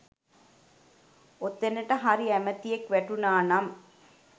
ඔතෙනට හරි ඇමතියෙක් වැටුනා නම්